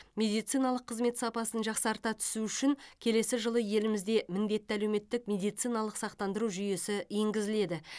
медициналық қызмет сапасын жақсарта түсу үшін келесі жылы елімізде міндетті әлеуметтік медициналық сақтандыру жүйесі енгізіледі